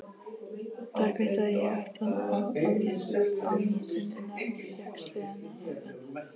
Þar kvittaði ég aftan á ávísunina og fékk seðlana afhenta.